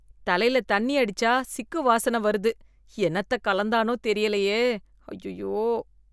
தலையில தண்ணி அடிச்சா சிக்கு வாசன வருது என்னத்த கலந்தானோ தெரியலையே, ஐயையோ.